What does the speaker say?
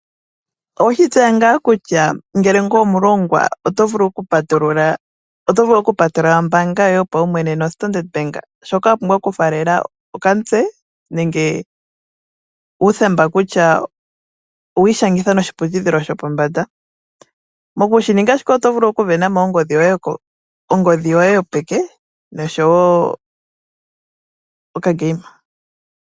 Owe shi tseya ngaa kutya ngele ngweye omulongwa oto vulu okupatulula ombaanga yoye yopaumwene noStandard Bank? Shoka wa pumbwa okufaalela okamutse nenge uuthemba kutya owa ishangitha noshiputudhilo shopombanda. Moku shi ninga shika oto vulu oku isindanena ongodhi yoye yopeke osho wo okadhanitho.